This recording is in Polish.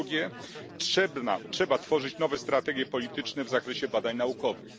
Po drugie, trzeba tworzyć nowe strategie polityczne w zakresie badań naukowych.